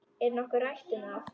Er nokkuð rætt um það?